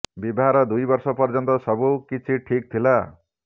ବିବାହର ଦୁଇ ବର୍ଷ ପର୍ଯ୍ୟନ୍ତ ସବୁ କିଛି ଠିକ୍ ଥିଲା